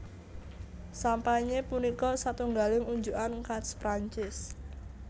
Sampanye punika satungaling unjukan khas Prancis